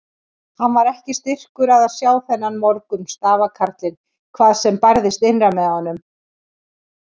Hann var ekki styrkur að sjá þennan morgun stafkarlinn hvað sem bærðist innra með honum.